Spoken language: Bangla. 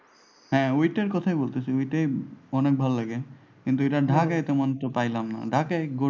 হ্যাঁ ঐটার কথাই বলতাছি। এমনিতে অনেক ভালো লাগে। কিন্তু এটা ঢাকায় তেমন একটা পাইলামনা। ঢাকায়